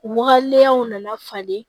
U wagalenw nana falen